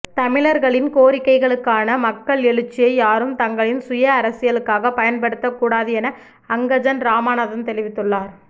தமிழர்களின் கோரிக்கைகளுக்கான மக்கள் எழுச்சியை யாரும் தங்களின் சுய அரசியலுக்காக பயன்படுத்தக்கூடாது என அங்கஜன் இராமநாதன் தெரிவித்துள்ளார்